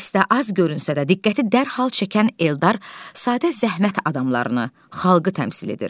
Pyesdə az görünsə də diqqəti dərhal çəkən Eldar sadə zəhmət adamlarını, xalqı təmsil edir.